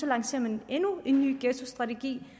lancerer endnu en ny ghettostrategi